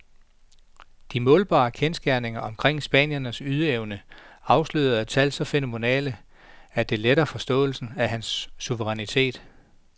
De målbare kendsgerninger omkring spanierens ydeevne afslører tal så fænomenale, at det letter forståelsen af hans suverænitet.